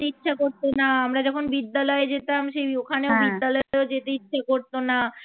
ইচ্ছা করত না আমরা যখন বিদ্যালয়ে যেতাম সেই ওখানে বিদ্যালয়তে যেতে ইচ্ছে করত না